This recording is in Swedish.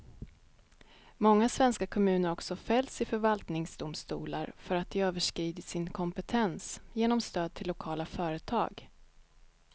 Många svenska kommuner har också fällts i förvaltningsdomstolar för att de överskridit sin kompetens genom stöd till lokala företag.